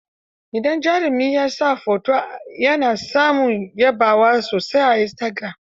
Idan jarumi ya sa hoto, ya na samun yabawa sosai a istagiram.